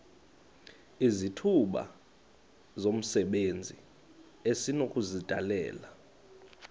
izithuba zomsebenzi esinokuzidalela